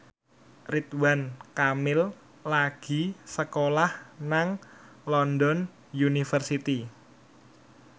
Ridwan Kamil lagi sekolah nang London University